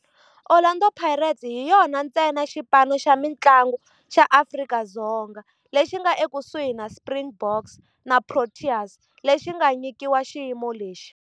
Orlando Pirates hi yona ntsena xipano xa mintlangu xa Afrika-Dzonga lexi nga ekusuhi na Springboks na Proteas lexi nga nyikiwa xiyimo lexi.